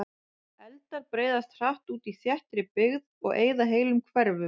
Eldar breiðast hratt út í þéttri byggð og eyða heilum hverfum.